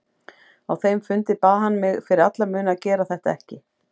Á þeim fundi bað hann mig fyrir alla muni að gera þetta ekki.